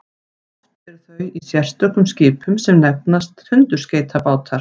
oft eru þau í sérstökum skipum sem nefnast tundurskeytabátar